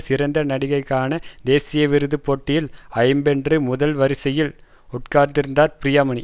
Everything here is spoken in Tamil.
சிறந்த நடிகைக்கான தேசிய விருதுப் போட்டியில் ஜம்மென்று முதல் வரிசையில் உட்கார்ந்திருக்கிறார் ப்ரியாமணி